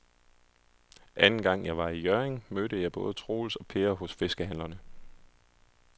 Anden gang jeg var i Hjørring, mødte jeg både Troels og Per hos fiskehandlerne.